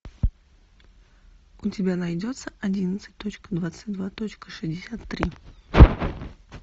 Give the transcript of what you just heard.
у тебя найдется одиннадцать точка двадцать два точка шестьдесят три